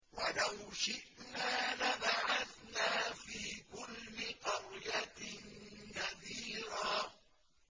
وَلَوْ شِئْنَا لَبَعَثْنَا فِي كُلِّ قَرْيَةٍ نَّذِيرًا